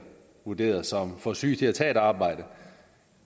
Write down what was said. vurderet som for syge til at tage et arbejde